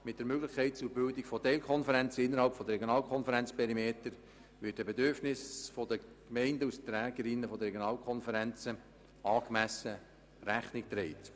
Mit der Möglichkeit zur Bildung von Teilkonferenzen innerhalb der Regionalkonferenzperimeter wird den Bedürfnissen der Gemeinden als Trägerinnen der Regionalkonferenzen angemessen Rechnung getragen.